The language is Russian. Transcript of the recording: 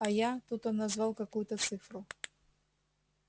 а я тут он назвал какую-то цифру